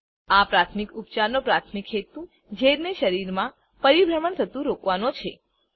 આ પ્રાથમિક ઉપચારનો પ્રાથમિક હેતુ ઝેરને શરીરમાં પરિભ્રમણ થતું રોકવાનો છે